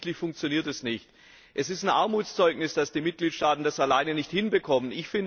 Aber offensichtlich funktioniert das nicht. Es ist ein Armutszeugnis, dass die Mitgliedstaaten das alleine nicht hinbekommen.